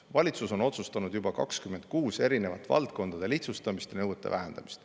Valitsus on otsustanud juba 26 erinevat valdkondade lihtsustamist ja nõuete vähendamist.